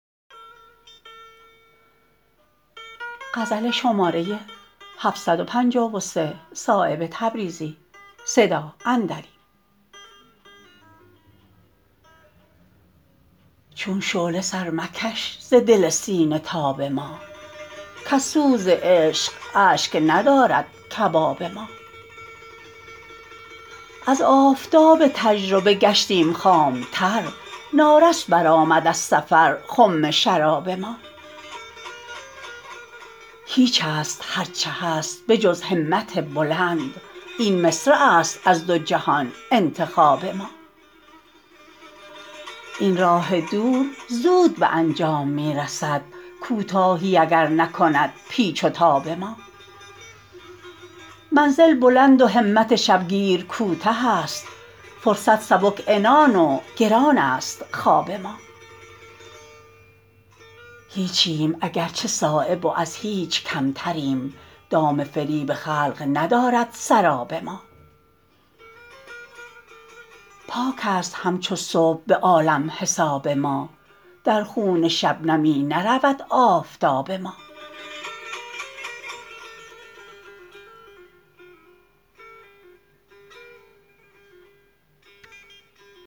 چون شعله سر مکش ز دل سینه تاب ما کز سوز عشق اشک ندارد کباب ما از آفتاب تجربه گشتیم خامتر نارس برآمد از سفر خم شراب ما هیچ است هر چه هست به جز همت بلند این مصرع است از دو جهان انتخاب ما این راه دور زود به انجام می رسد کوتاهیی اگر نکند پیچ و تاب ما منزل بلند و همت شبگیر کوته است فرصت سبک عنان و گران است خواب ما هیچیم اگر چه صایب و از هیچ کمتریم دام فریب خلق ندارد سراب ما پاک است همچو صبح به عالم حساب ما در خون شبنمی نرود آفتاب ما